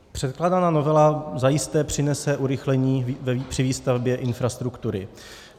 Předkládaná novela zajisté přinese urychlení při výstavbě infrastruktury.